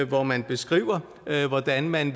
hvor man beskriver hvordan man